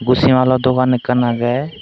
busimaal o dogan ekkan aage.